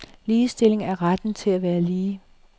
Ligestilling er retten til at være lige.